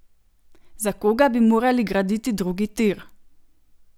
Za koga bi morali graditi drugi tir?